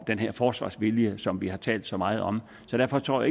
den her forsvarsvilje som vi har talt så meget om så derfor tror